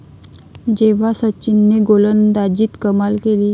...जेव्हा सचिनने गोलंदाजीत कमाल केली